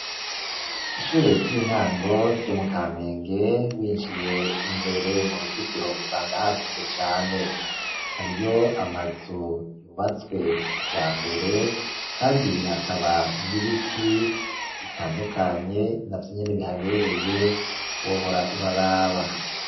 Ishure ry'intango Ryo mukamenge winjiye imbere muruzitiro usanga hagutse cane, hariyo amazu yubatswe kijambere Kandi hakaba n'ibiti bitandukanye navyonyene bihabereye wohora uraraba.